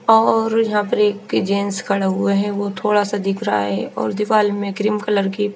और यहाँ पे पीजेंस खड़े हुए है वो थोड़ा सा दिख रहा है और दिवार में क्रीम कलर की--